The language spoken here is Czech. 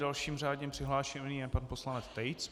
Dalším řádně přihlášeným je pan poslanec Tejc.